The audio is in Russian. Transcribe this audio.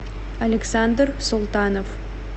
александр султанов